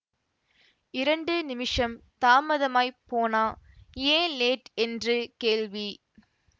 இரண்டு நிமிஷம் தாமதமாய்ப் போனா ஏன் லேட் என்று கேள்வி